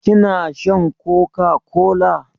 Kina shan coca-cola?